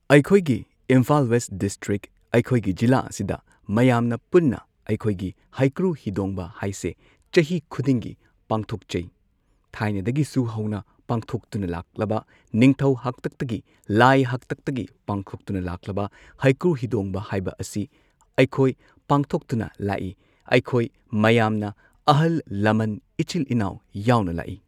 ꯑꯩꯈꯣꯏꯒꯤ Imphal West district ꯑꯩꯈꯣꯏꯒꯤ ꯖꯤꯂꯥ ꯑꯁꯤꯗ ꯃꯌꯥꯝꯅ ꯄꯨꯟꯅ ꯑꯩꯈꯣꯏꯒꯤ ꯍꯩꯀ꯭ꯔꯨ ꯍꯤꯗꯣꯡꯕ ꯍꯥꯢꯁꯦ ꯆꯍꯤ ꯈꯨꯗꯤꯡꯒꯤ ꯄꯥꯡꯊꯣꯛꯆꯩ ꯊꯥꯏꯅꯗꯒꯤꯁꯨ ꯍꯧꯅ ꯄꯥꯡꯊꯣꯛꯇꯨꯅ ꯂꯥꯛꯂꯕ ꯅꯤꯊꯧ ꯍꯥꯛꯇꯛꯇꯒꯤ ꯂꯥꯛꯢ ꯍꯥꯛꯇꯛꯒꯤ ꯄꯥꯡꯊꯣꯛꯇꯨꯟ ꯂꯥꯛꯂꯕ ꯍꯩꯀꯨ ꯍꯤꯗꯣꯡꯕ ꯍꯥꯏꯕ ꯑꯁꯤ ꯑꯩꯈꯣꯏ ꯄꯥꯡꯊꯣꯛꯇꯨꯅ ꯂꯥꯛꯑꯦ ꯑꯩꯈꯣꯏ ꯃꯌꯥꯝ ꯑꯍꯜ ꯂꯃꯟ ꯏꯆꯤꯟ ꯏꯅꯥꯎ ꯌꯥꯎꯅ ꯂꯥꯛꯏ꯫